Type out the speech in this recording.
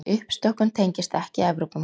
Uppstokkun tengist ekki Evrópumálum